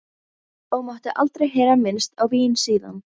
Og mátti aldrei heyra minnst á vín síðan.